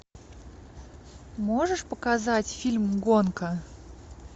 можешь показать фильм гонка